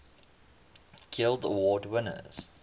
guild award winners